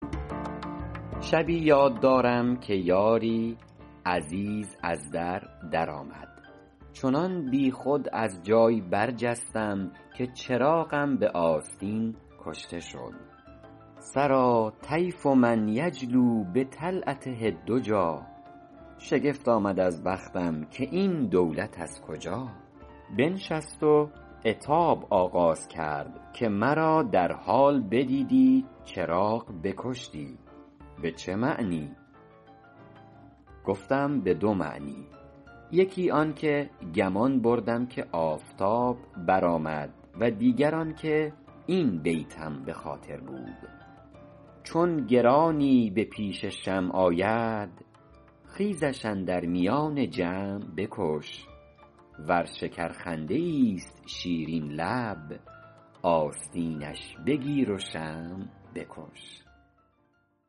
شبی یاد دارم که یاری عزیز از در در آمد چنان بیخود از جای برجستم که چراغم به آستین کشته شد سریٰ طیف من یجلو بطلعته الدجیٰ شگفت آمد از بختم که این دولت از کجا بنشست و عتاب آغاز کرد که مرا در حال بدیدی چراغ بکشتی به چه معنی گفتم به دو معنی یکی آن که گمان بردم که آفتاب برآمد و دیگر آن که این بیتم به خاطر بود چون گرانی به پیش شمع آید خیزش اندر میان جمع بکش ور شکرخنده ایست شیرین لب آستینش بگیر و شمع بکش